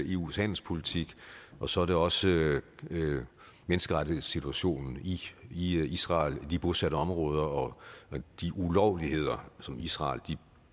eus handelspolitik og så er det også menneskerettighedssituationen i israel i de bosatte områder og de ulovligheder israel